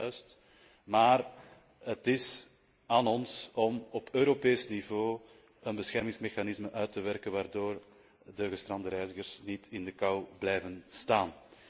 Dat is juist, maar het is aan ons om op Europees niveau een beschermingsmechanisme uit te werken waardoor de gestrande reizigers niet in de kou blijven staan.